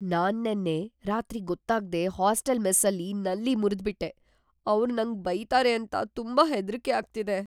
ನಾನ್‌ ನೆನ್ನೆ ರಾತ್ರಿ ಗೊತ್ತಾಗ್ದೇ ಹಾಸ್ಟೆಲ್ ಮೆಸ್ಸಲ್ಲಿ ನಲ್ಲಿ ಮುರ್ದ್‌ಬಿಟ್ಟೆ, ಅವ್ರ್ ನಂಗೆ ಬೈತಾರೆ ಅಂತ ತುಂಬಾ ಹೆದ್ರಿಕೆ ಆಗ್ತಿದೆ.